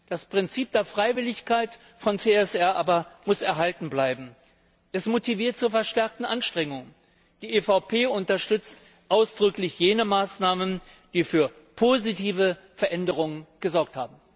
Das Prinzip der Freiwilligkeit von CSR aber muss erhalten bleiben. Es motiviert zu verstärkten Anstrengungen. Die EVP Fraktion unterstützt ausdrücklich jene Maßnahmen, die für positive Veränderungen gesorgt haben.